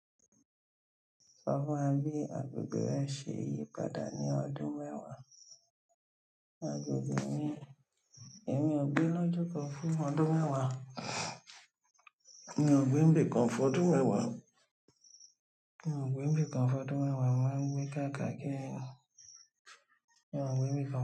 Sọ fún mi, agbègbè rẹ ṣe ìyípadà ní ọdún mẹwa? Agbègbè mi, emi ò gbé lojuko fún ọdún mẹwa, mi ò gbé ńbẹ̀ kan fún ọdún mẹwa, mi ò gbé n bi kan fún ọdún mẹwa, ma ń gbé kàkà kí mi ò gbé n bi kan.